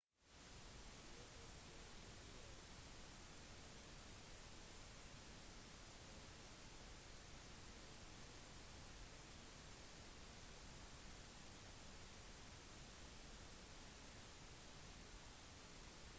gi også kopier av forsikrings-/kontaktkopier til reisefeller og til slektninger eller venner hjemme som er klare til å hjelpe